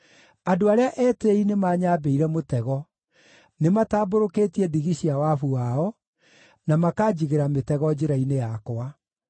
Andũ arĩa etĩĩi nĩmanyambĩire mũtego; nĩmatambũrũkĩtie ndigi cia wabu wao, na makanjigĩra mĩtego njĩra-inĩ yakwa.